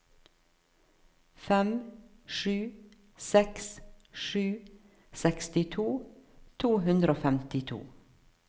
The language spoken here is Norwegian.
fem sju seks sju sekstito to hundre og femtito